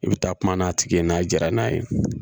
I bɛ taa kuma n'a tigi ye n'a jara n'a ye